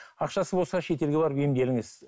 ақшасы болса шетелге барып емделіңіз